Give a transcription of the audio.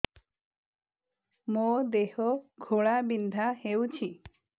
ମୋ ଦେହ ଘୋଳାବିନ୍ଧା ହେଉଛି